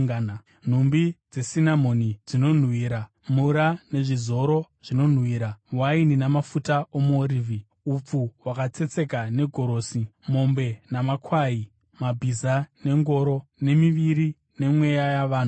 nhumbi dzesinamoni nezvinonhuhwira, mura nezvizoro zvinonhuhwira, waini namafuta omuorivhi, upfu hwakatsetseka negorosi; mombe namakwai; mabhiza nengoro; nemiviri nemweya yavanhu.